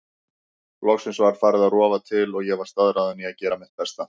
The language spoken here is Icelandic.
Loksins var farið að rofa til og ég var staðráðin í að gera mitt besta.